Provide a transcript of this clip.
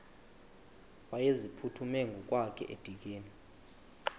wayeziphuthume ngokwakhe edikeni